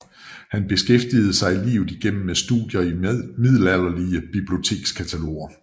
Han beskæftigede sig livet igennem med studier af middelalderlige bibliotekskataloger